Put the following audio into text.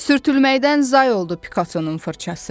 Sürtülməkdən zay oldu Pikatonun fırçası.